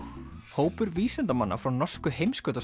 hópur vísindamanna frá norsku